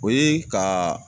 O ye kaa